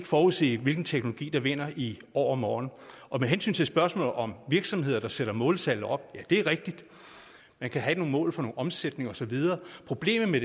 forudse hvilken teknologi der vinder i overmorgen med hensyn til spørgsmålet om virksomheder der sætter måltal op det er rigtigt man kan have nogle mål for noget omsætning og så videre problemet